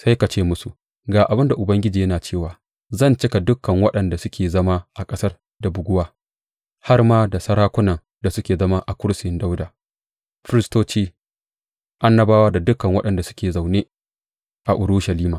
Sai ka ce musu, Ga abin da Ubangiji yana cewa, zan cika dukan waɗanda suke zama a ƙasar da buguwa, har ma da sarakunan da suke zama a kursiyin Dawuda, firistoci, annabawa da dukan waɗanda suke zaune a Urushalima.